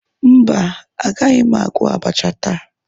Mba, agaghị m agwọ abacha taa.